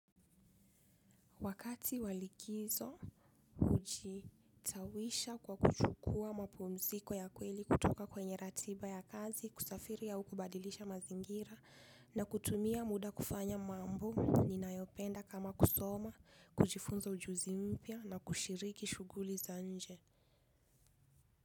Wakati wa likizo hujistawisha kwa kuchukua mapumziko ya kweli kutoka kwenye ratiba ya kazi kusafiri au kubadilisha mazingira na kutumia muda kufanya mambo ninayopenda kama kusoma, kujifunza ujuzi mpya na kushiriki shughuli za nje.